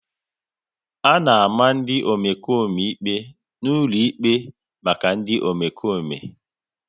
A na-ama ndị Omekome ikpe n'ụlọ ikpe maka ndị Omekome